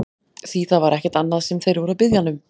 Því það var ekkert annað sem þeir voru að biðja hann um!